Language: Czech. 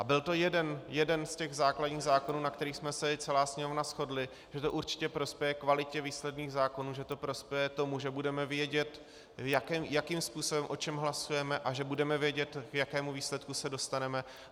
A byl to jeden z těch základních zákonů, na kterých jsme se celá Sněmovna shodli, že to určitě prospěje kvalitě výsledných zákonů, že to prospěje tomu, že budeme vědět, jakým způsobem o čem hlasujeme, a že budeme vědět, k jakému výsledku se dostaneme.